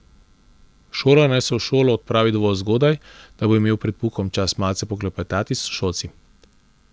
Šolar naj se v šolo odpravi dovolj zgodaj, da bo imel pred poukom čas malce poklepetati s sošolci.